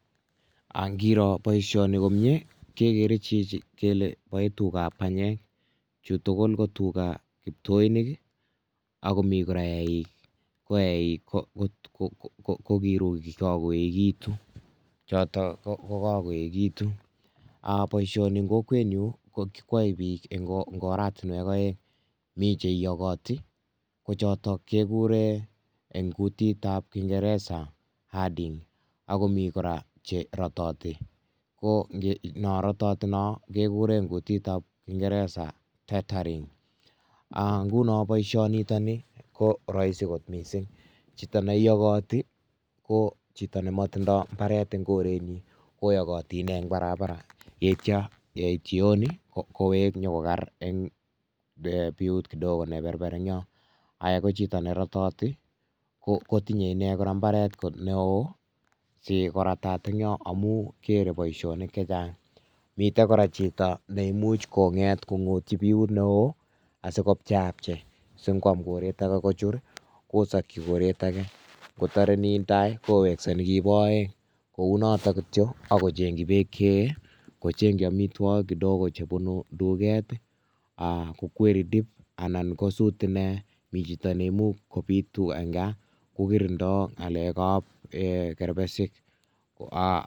Angiroo boishooni komie kegeere chichi kele boe tugaab banyek. Chutugul ko tugaa kiptoinik i,ako mii kora eik, ko eik ko kiruukik kakoyeegitun. choton ko kakoyeegitun ak boishoni en kokwenyun koyoe bik en oratinwek oeng, mi oret nekiyokotii kochitok keguuren en kuutitab kingeresa hearding akomi kora cherotitii, ko chon rototiin cho, kegureen en kutitab kingeresa tethering .Ak ngunon noishoni nitok nii ko Roisin kot missing, chitoneiyokotii ko chito nemotindoi imbaret en korenyiin, koyokotii ine en Barbara yeityo yeit langat kowek konyokogeer en biut kidogo neberber enion. Ko chito nerototii kotinyee kora mbaret neo sikoratat en yon ngamun mere boishonik chechang, miten kora chito neimuch konget kongotyii biu neo sikopchaepchei singoam koret age kochur kosokyii koretage. Kotore netai kowekse Nikibo oeng kounotok kityok akochengkchi beek cheyee kochengchi amitwogiik ngochebunu tuket I,koendii dip anan kosuut inei anan kobiit tugaa en gaa kokirindoo ngalek ab kerbesik